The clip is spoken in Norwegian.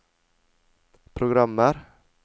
programmer